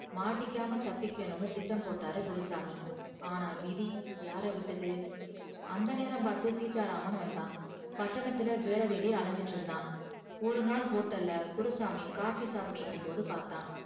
மாட்டிக்காம தப்பிக்கணும்னு திட்டம் போட்டாரு குருசாமி ஆனா விதி யார விட்டது அந்த நேரம் பாத்து சீத்தா ராமன் வந்தா பட்டணத்துல வேல தேடி அலைஞ்சிட்டு இருந்தா ஒருநாள் hotel ல குருசாமி coffee சாப்டுகிட்டு இருக்கும் போது பாத்தா